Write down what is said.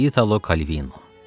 İtalo Kalvino.